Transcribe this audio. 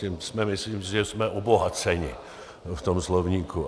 Tím si myslím, že jsme obohaceni v tom slovníku.